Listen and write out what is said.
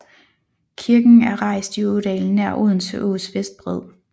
Kirken errejst i ådalen nær Odense Ås vestbred